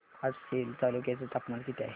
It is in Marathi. आज सेलू तालुक्या चे तापमान किती आहे